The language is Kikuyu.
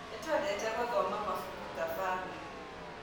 Nĩtũendete gũthoma mabuku ta bamĩrĩ